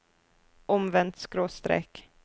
omvendt skråstrek